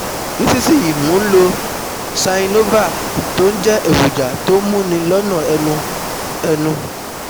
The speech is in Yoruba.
nísinsìnyí mo ń lo xynovir tó ń jẹ́ èròjà tó ń múni lọ́nà ẹnu ẹnu